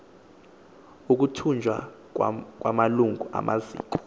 ukutyunjwa kwamalungu amaziko